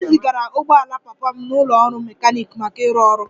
E zigara ụgbọ ala papa m n'ụlọ ọrụ mechanic maka ịrụ ọrụ